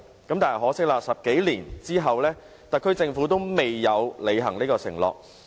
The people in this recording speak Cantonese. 很可惜 ，10 多年後，特區政府仍未履行有關承諾。